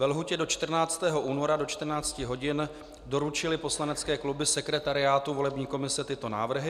Ve lhůtě do 14. února do 14 hodin doručily poslanecké kluby sekretariátu volební komise tyto návrhy.